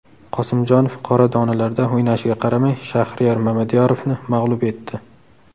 Qosimjonov qora donalarda o‘ynashiga qaramay, Shaxriyar Mamadiyarovni mag‘lub etdi.